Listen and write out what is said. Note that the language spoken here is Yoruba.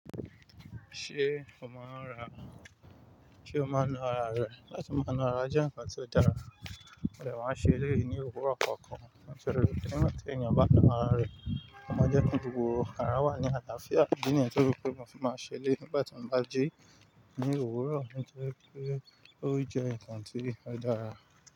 Ṣé o máa ń ra, ṣé o máa ń na ara rẹ, láti máa na ara jẹ́ ǹnkan tó dára. Mo dẹ̀ máa ń ṣe eléyìí ní òwúrọ̀ kọ̀ọ̀kan. Nítorí bí ènìyàn bá fẹ́ràn ara rẹ̀, ọma jẹ́ kí gbogbo ara wà ní àlàáfíà. Ìdí nìyàn tó yẹ pé mo fi máa ṣẹlẹ̀yi nígbà tí mo bá jí ní òwúrọ̀, ó jẹ́ pé ó jẹ́ ǹkan tí kò dára.